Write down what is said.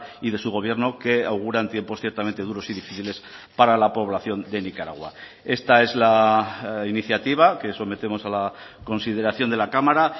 y de su gobierno que auguran tiempos ciertamente duros y difíciles para la población de nicaragua esta es la iniciativa que sometemos a la consideración de la cámara